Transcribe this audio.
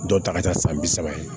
Dɔw ta ka ca san bi saba ye